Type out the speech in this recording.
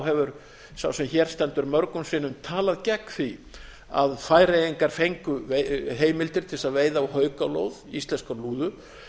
hefur sá sem hér stendur mörgum sinnum talað gegn því að færeyingar fengju heimildir til þess að veiða á haukalóð íslenskrar lúðu